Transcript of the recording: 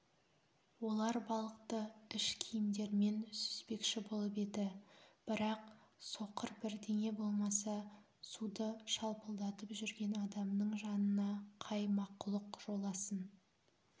олар балықты ішкиімдерімен сүзбекші болып еді бірақ соқыр бірдеңе болмаса суды шалпылдатып жүрген адамның жанына қай мақұлық жоласын